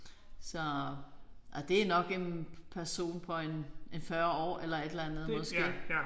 Så og det nok en person på en en 40 år eller et eller andet måske